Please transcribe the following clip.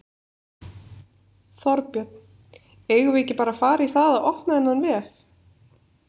Þorbjörn: Eigum við ekki bara að fara í það að opna þennan vef?